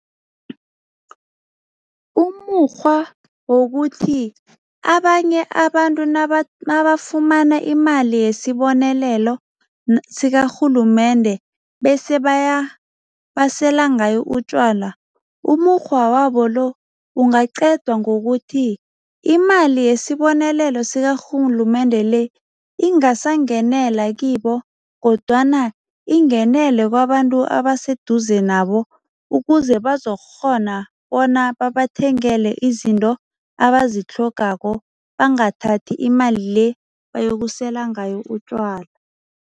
Umukghwa wokuthi abanye abantu mabafumana imali yesibonelelo sikarhulumende bese basela ngayo utjwala, umukghwa wabo lo ungaqedwa ngokuthi imali yesibonelelo sikarhulumende le ingasangenela kibo kodwana ingenele kwabantu abaseduze nabo ukuze bazokukghona bona babathengele izinto abazitlhogako, bangathathi imali le bayokusela ngayo utjwala.